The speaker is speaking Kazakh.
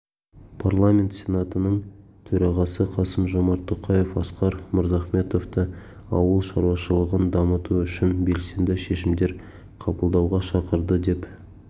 парламент сенатының төрағасы қасым-жомарт тоқаев асқар мырзахметовты ауыл шаруашылығын дамыту үшін белсенді шешімдер қабылдауға шақырды деп